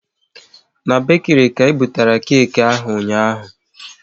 Na bekiri ka ebutere keki ahụ ụnyaahụ